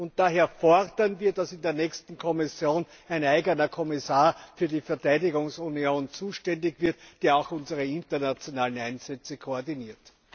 Und daher fordern wir, dass in der nächsten Kommission ein eigener Kommissar für die Verteidigungsunion zuständig wird, die auch unsere internationalen Einsätze koordiniert.